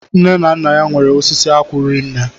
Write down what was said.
Nne na Nna ya nwere osisi akwụ rinne